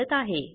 वापरत आहे